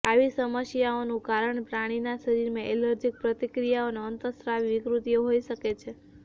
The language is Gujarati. આવી સમસ્યાઓનું કારણ પ્રાણીના શરીરમાં એલર્જીક પ્રતિક્રિયાઓ અને અંતઃસ્ત્રાવી વિકૃતિઓ હોઈ શકે છે